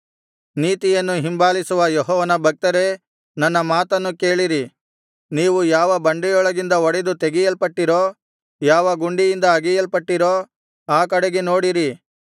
ನೀತಿಯನ್ನು ಹಿಂಬಾಲಿಸುವ ಯೆಹೋವನ ಭಕ್ತರೇ ನನ್ನ ಮಾತನ್ನು ಕೇಳಿರಿ ನೀವು ಯಾವ ಬಂಡೆಯೊಳಗಿಂದ ಒಡೆದು ತೆಗೆಯಲ್ಪಟ್ಟಿರೋ ಯಾವ ಗುಂಡಿಯಿಂದ ಅಗೆಯಲ್ಪಟ್ಟಿರೋ ಆ ಕಡೆಗೆ ನೋಡಿರಿ